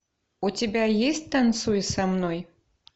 у тебя есть танцуй со мной